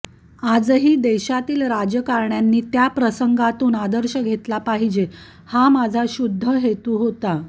आजही देशातील राजकारण्यांनी त्या प्रसंगातून आदर्श घेतला पाहिजे हा माझा शुद्ध हेतू होता